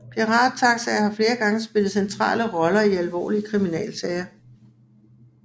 Pirattaxaer har flere gange spillet centrale roller i alvorlige kriminalsager